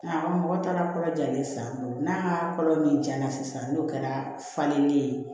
A mɔgɔ taara kolo jalen san n'a ka kolo min jara sisan n'o kɛra falenden ye